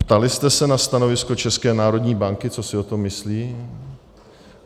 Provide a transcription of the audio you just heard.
Ptali jste se na stanovisko České národní banky, co si o tom myslí.